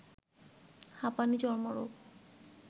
হাঁপানি, চর্মরোগ